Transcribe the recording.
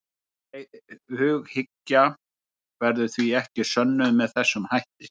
Hughyggja verður því ekki sönnuð með þessum hætti.